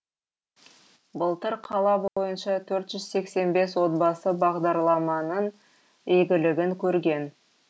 былтыр қала бойынша төрт жүз сексен бес отбасы бағдарламаның игілігін көрген